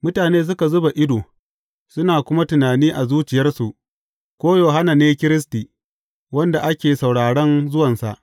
Mutane suka zuba ido, suna kuma tunani a zuciyarsu, ko Yohanna ne Kiristi wanda ake sauraron zuwansa.